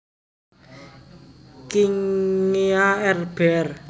Kingia R Br